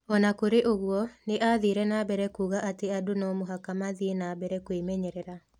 O na kũrĩ ũguo, nĩ aathire na mbere kuuga atĩ andũ no mũhaka mathiĩ na mbere kwĩmenyerera.